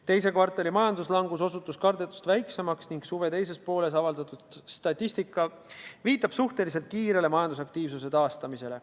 Teise kvartali majanduslangus osutus kardetust väiksemaks ning suve teises pooles avaldatud statistika viitab suhteliselt kiirele majandusaktiivsuse taastumisele.